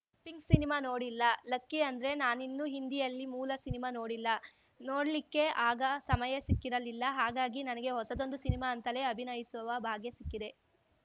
pink cinema ನೋಡಿಲ್ಲ lucky ಅಂದ್ರೆ ನಾನಿನ್ನು ಹಿಂದಿಯಲ್ಲಿ ಮೂಲ ಸಿನಿಮಾ ನೋಡಿಲ್ಲ ನೋಡ್ಲಿಕ್ಕೆ ಆಗ ಸಮಯ ಸಿಕ್ಕಿರಲಿಲ್ಲ ಹಾಗಾಗಿ ನನಗೆ ಹೊಸದೊಂದು ಸಿನಿಮಾ ಅಂತಲೇ ಅಭಿನಯಿಸುವ ಭಾಗ್ಯ ಸಿಕ್ಕಿದೆ